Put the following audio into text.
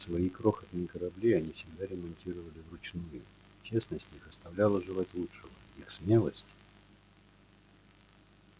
свои крохотные корабли они всегда ремонтировали вручную честность их оставляла желать лучшего их смелость